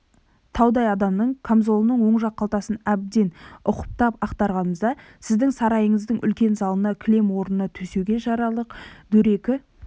таудай адамның камзолының оң жақ қалтасын әбден ұқыптап ақтарғанымызда сіздің сарайыңыздың үлкен залына кілем орнына төсеуге жарарлық дөрекі